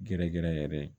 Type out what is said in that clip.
Gɛrɛ gɛrɛ yɛrɛ